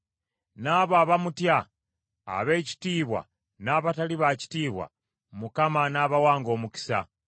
n’abo abamutya, ab’ekitiibwa n’abatali ba kitiibwa, Mukama anaabawanga omukisa.